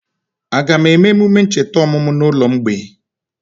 Aga eme emume ncheta ọmụmụ na ụlọ mgbei?